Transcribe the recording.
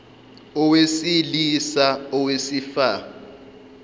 owesili sa owesifa